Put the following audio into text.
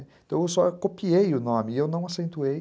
Então eu só copiei o nome e eu não aceituei.